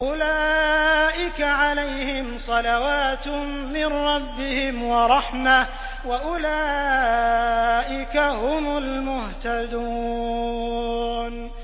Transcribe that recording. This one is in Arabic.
أُولَٰئِكَ عَلَيْهِمْ صَلَوَاتٌ مِّن رَّبِّهِمْ وَرَحْمَةٌ ۖ وَأُولَٰئِكَ هُمُ الْمُهْتَدُونَ